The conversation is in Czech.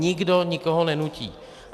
Nikdo nikoho nenutí.